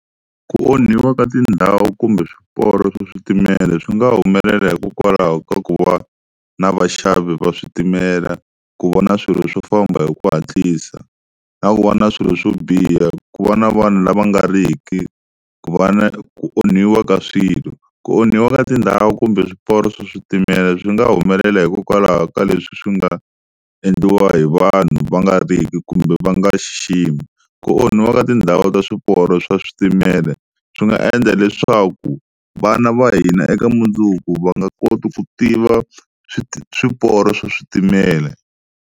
Ku onhiwa ka tindhawu kumbe swiporo swa switimela swi nga humelela hikokwalaho ka ku va na vaxavi va switimela ku va na swilo swo famba hi ku hatlisa na ku va na swilo swo biha, ku va na vanhu lava nga ri ki ku va na ku onhiwa ka swilo ku onhiwa ka tindhawu kumbe swiporo swa switimela swi nga humelela hikokwalaho ka leswi swi nga endliwa hi vanhu va nga ri ki kumbe va nga xiximi, ku onhiwa ka tindhawu ta swiporo swa switimela swi nga endla leswaku vana va hina eka mundzuku va nga koti ku tiva swiporo swa switimela.